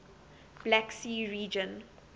black sea region